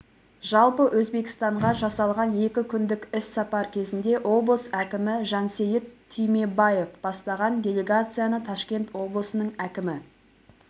жалпы өзбекстанға жасалған екі күндік іссапар кезінде облыс әкімі жансейіт түймебаев бастаған делегацияны ташкент облысының әкімі